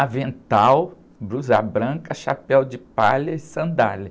avental, blusa branca, chapéu de palha e sandália.